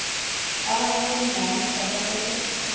abanye beendlalifa basese